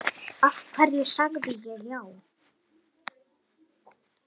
Af hverju sagði ég já?